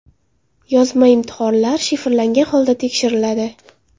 Yozma imtihonlar shifrlangan holda tekshiriladi.